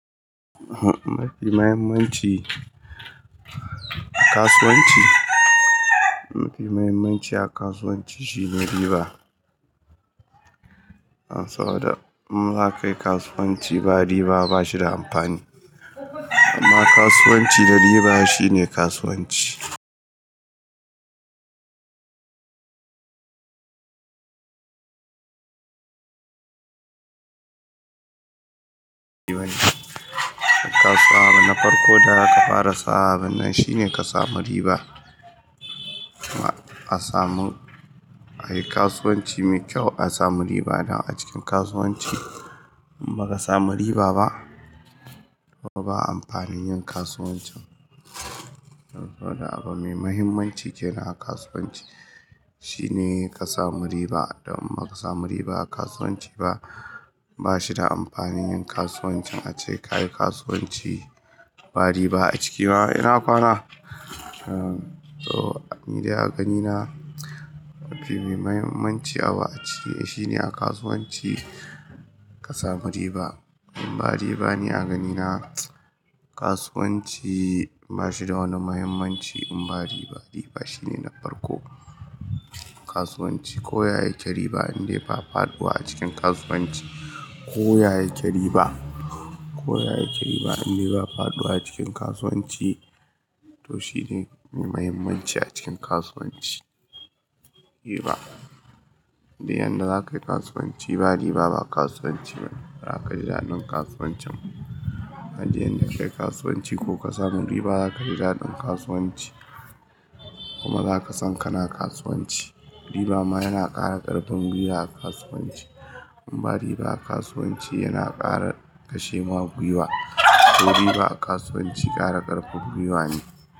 Mafi muhimmanci a kasuwanci, mafi muhimmanci a kasuwanci shine riba. Saboda im za ka yi kasuwanci ba riba ba shi da amfani. Amma kasuwanci da riba shine kasuwanci. Na farko da za ka fara sa'a binnan shine ka samu riba. Kuma a samu, a yi kasuwanci mai kyau, a samu riba da a cikin kasuwanci in ba ka samu riba ba, ba amfanin yin kasuwancin. Saboda abu mai muhimmanci kenan a kasuwanci shine ka samu riba. Dan in ba ka samu riba a kasuwanci ba, ba shi da amfanin yin kasuwancin ace kayi kasuwanci ba riba a ciki ma yana kwana. To, ni dai a ganina abin mai muhimmanci abu a cikin shine a kasuwanci ka samu riba. In ba riba ne a ganina kasuwanci ba shi da wani muhimmanci in ba riba. Riba shine na farko a kasuwanci ko ya yi ke riba in dai ba faɗuwa a cikin kasuwanci ko ya yi ke riba, ko ya yi ke riba in dai ba faɗuwa a cikin kasuwanci to shine mai muhimmanci a cikin kasuwanci, riba. Duk yanda za ka yi kasuwanci ba riba ba kasuwanci ba ne, ba ka ji daɗin kasuwancin. Ka ji yanda ka yi kasuwanci ko ka samu riba za ka ji daɗin kasuwanci. Kuma za ka san kana kasuwanci. Riba ma yana ƙara ƙarfin gwiwa a kasuwanci. In ba riba a kasuwanci yana ƙara kashe ma gwiwa. To riba a kasuwanci ƙara ƙarfin gwiwa ne.